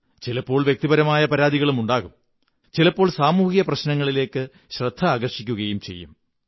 ചിലപ്പോൾ വ്യക്തിപരങ്ങളായ പരാതികളുമുണ്ടാകും ചിലപ്പോൾ സാമൂഹിക പ്രശ്നങ്ങളിലേക്ക് ശ്രദ്ധ ആകര്ഷിാക്കുകയും ചെയ്യും